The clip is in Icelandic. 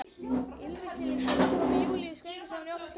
Yfirlýsing sem kom Júlíu gjörsamlega í opna skjöldu.